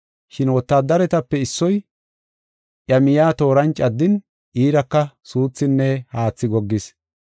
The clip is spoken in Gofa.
Shin wotaadaretape issoy iya miya tooran caddin iiraka suuthinne haathi goggis.